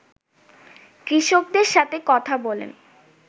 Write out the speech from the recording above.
কৃষকদের সাথে কথা বলেন